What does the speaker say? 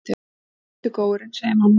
Já, sittu góurinn, segir mamma.